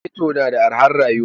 Ghetto na da arhar rayuwa